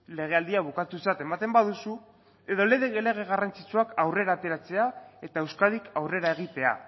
legealdia bukatutzat ematen baduzu edo lege garrantzitsuak aurrera ateratzea eta euskadik aurrera egitea